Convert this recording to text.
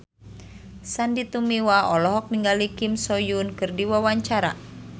Sandy Tumiwa olohok ningali Kim So Hyun keur diwawancara